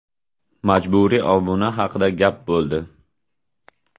Majburiy obuna haqida gap bo‘ldi.